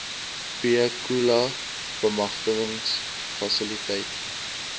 b khula bemagtigingsfasiliteit